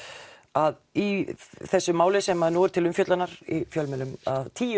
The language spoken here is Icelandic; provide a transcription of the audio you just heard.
að í þessu máli sem nú er til umfjöllunar í fjölmiðlum að tíu